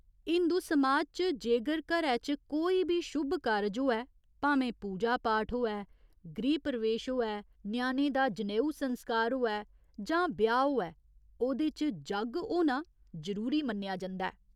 हिंदु समाज च जेगर घरै च कोई बी शुभ कारज होऐ, भामें पूजा पाठ होऐ, गृह प्रवेश होऐ, ञ्याणे दा जनेऊ संस्कार होऐ जां ब्याह् होऐ, ओह्दे च जग्ग होना जरूरी मन्नेआ जंदा ऐ।